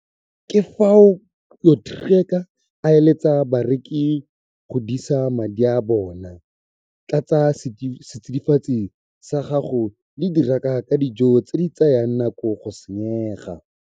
Ka fao Potgieter a eletsang bareki go disa madi a bona. Tlasa setsidifatsi sa gago le diraka ka dijo tse di tsayang nako go senyega.